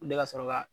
Ne ka sɔrɔ ka